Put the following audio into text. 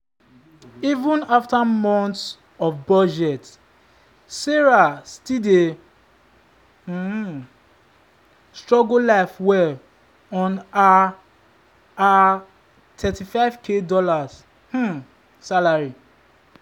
even after months of budget sarah still dey um struggle live well on her her $35k um salary.